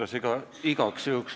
Austatud kolleegid!